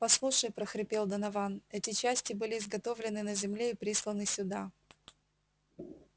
послушай прохрипел донован эти части были изготовлены на земле и присланы сюда